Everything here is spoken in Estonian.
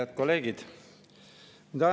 Head kolleegid!